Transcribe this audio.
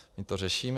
My to řešíme.